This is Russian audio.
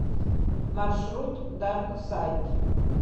маршрут дарк сайд